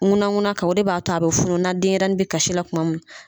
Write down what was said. Ŋunanŋunan kan ,o b'a to a be funu na denyɛrɛnin be kasi la kuma mun.